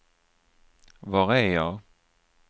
var är jag